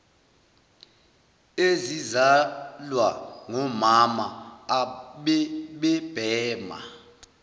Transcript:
ezizalwa ngomama abebebhema